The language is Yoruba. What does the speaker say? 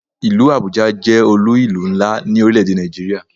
Ìlú Abuja jẹ́ olú ìlú ńlá ni orile-ede Nigeria